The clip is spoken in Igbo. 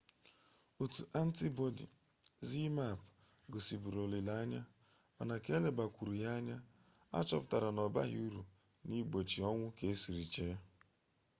otu antibọdi zmapp gosiburu olileanya mana ka elebakwuru ya anya achọpụtara na ọbaghị uru na-igbochi ọnwụ ka esiri chee